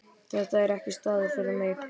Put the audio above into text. Þetta er ekki staður fyrir þig.